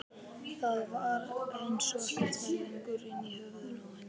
Það var eins og ekkert væri lengur inni í höfðinu á henni.